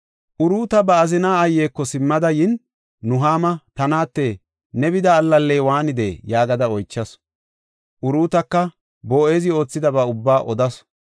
Uruuta ba azina aayeko simmada yin, Nuhaama, “Ta naate, ne bida allaley waanidee?” yaagada oychasu. Uruutaka Boo7ezi oothidaba ubba odasu;